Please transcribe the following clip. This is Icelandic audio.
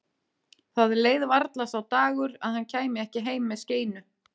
Það leið varla sá dagur að hann kæmi ekki heim með skeinu.